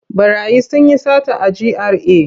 Ɓarayi sun yi sata a GRA.